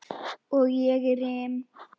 Og ég rym.